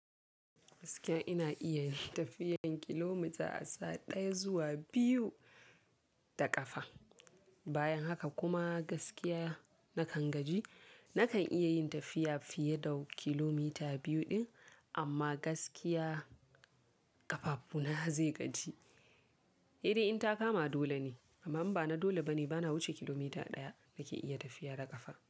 Gaskiya ina iya yin tafiyan kilomita a sa'a ɗaya zuwa biyu da ƙafa. Bayan haka kuma gaskiya nakan gaji. Nakan iya yin tafiya fiye da kilomita biyu ɗin amma gaskiya ƙafafuna zai gaji. Sai dai in ta kama dole ne, amma in ba na dole bane bana wuce kilomita ɗaya nake iya tafiya da ƙafa.